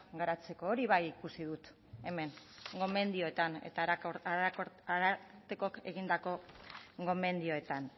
garatzeko hori bai ikusi dut hemen gomendioetan eta arartekoak egindako gomendioetan